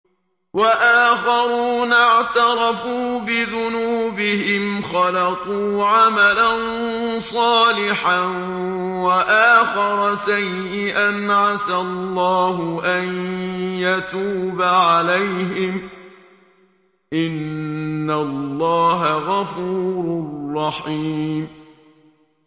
وَآخَرُونَ اعْتَرَفُوا بِذُنُوبِهِمْ خَلَطُوا عَمَلًا صَالِحًا وَآخَرَ سَيِّئًا عَسَى اللَّهُ أَن يَتُوبَ عَلَيْهِمْ ۚ إِنَّ اللَّهَ غَفُورٌ رَّحِيمٌ